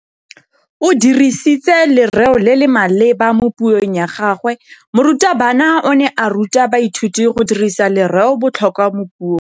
O dirisitse lerêo le le maleba mo puông ya gagwe. Morutabana o ne a ruta baithuti go dirisa lêrêôbotlhôkwa mo puong.